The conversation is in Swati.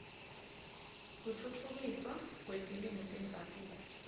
kutfutfukiswa kwetilwimi tendzabuko